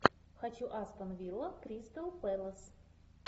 хочу астон вилла кристал пэлас